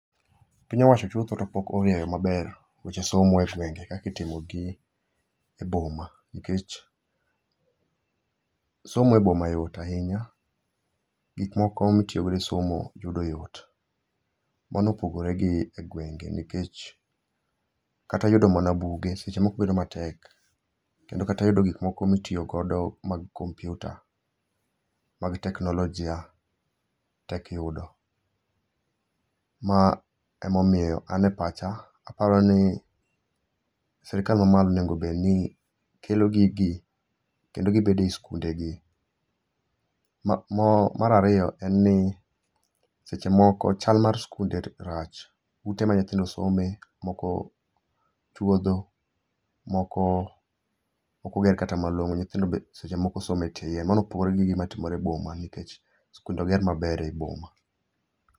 Piny owacho chutho to pok orieyo maber, weche somo e gwenge kaka itimogi eboma nikech somo e boma yot ahinya. Gik moko mitiyogo e somo yudo yot. Mano opogore gi egwenge nikech kata yudo mana buge seche moko bedo matek, kendo kata yudo gik moko mitiyo godo mag kompiuta, mag teknolojia tek yudo. Ma emomiyo an e pacha aparoni sirkal mamalo onego bedni kelo gigi kendo gibedo ei sikundegi. Mar ariyo, en ni seche moko chal mar sikunde rach. Ute ma nyithindo some, moko chuodho, moko ok oger kata malong'o, nyithindo seche moko somo etie yien. Mano opogore gi gimatimore eboma nikech sikunde oger maber eboma.